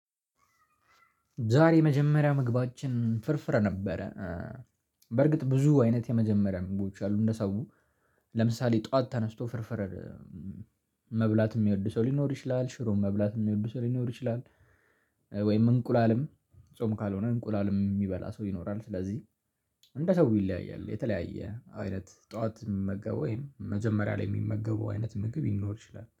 ዛሬ የመጀመሪያ ምግባችን ፍርፍር ነበረ። በርግጥ ብዙ አይነት የመጀመሪያ ምግቦች አሉ እንደ ሰው። ለምሳሌ ጠዋት ተነስቶ ፍርፍር። መብላት የሚወድ ሰው ሊኖር ይችላል ሽሮም መብላት የሚወድ ሰው ሊኖር ይችላል። ወይም እንቁላልም ጾም ካልሆነ እንቁላልም የሚበላ ሰው ይኖራል። ስለዚህ እንደ ሰው ይለያያል የተለያየ አይነት ጠዋት የሚመገበው ወይም መጀመሪያ ላይ የሚመገበው አይነት ምግብ ሊኖር ይችላል